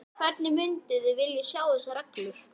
Hvernig mynduð þið vilja sjá þessar reglur?